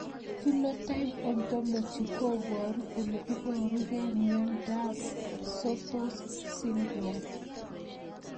Phenotype ontology koparu ole iparukei miondop Sotos syndrome